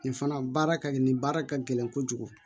Nin fana baara ka gɛlɛn nin baara ka gɛlɛn kojugu